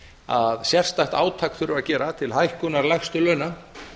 að sérstakt átak þurfi að gera til hækkunar lægstu launa